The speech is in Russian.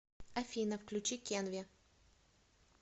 афина включи кенви